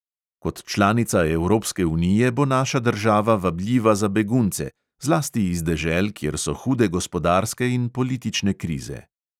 Kot članica evropske unije bo naša država vabljiva za begunce, zlasti iz dežel, kjer so hude gospodarske in politične krize.